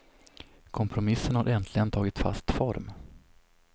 Kompromissen har äntligen tagit fast form.